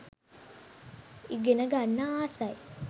ඉගෙන ගන්න ආසයි.